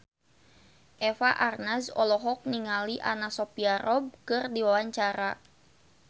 Eva Arnaz olohok ningali Anna Sophia Robb keur diwawancara